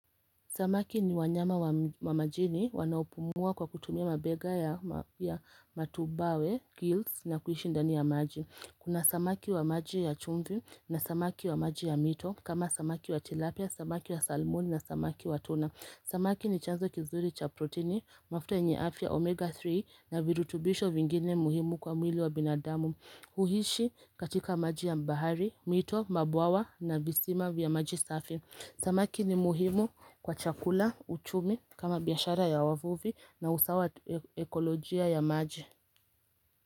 Samaki ni wanyama wa majini, wanaupumua kwa kutumia mabega ya matubawe, gills na kuhishi ndani ya maji. Kuna samaki wa maji ya chumfi na samaki wa maji ya mito, kama samaki wa tilapia, samaki wa salmoni na samaki wa tuna. Samaki ni chanzo kizuri cha proteini, mafuto enyeafia, omega 3 na virutubisho vingine muhimu kwa mwili wa binadamu. Huhishi katika maji ya bahari, mito, mabwawa na visima vya maji safi. Samaki ni muhimu kwa chakula, uchumi, kama biyashara ya wavuvi na usawa ekolojia ya maji.